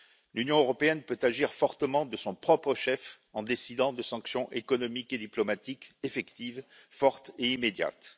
L'Union européenne peut agir fortement de son propre chef en décidant de sanctions économiques et diplomatiques effectives fortes et immédiates.